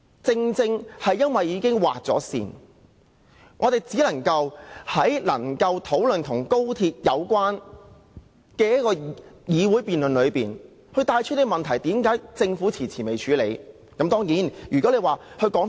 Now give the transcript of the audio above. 正因為辯論已經設了時限，我們只能在討論與高鐵相關的議題時，順帶指出政府遲遲未有處理的問題。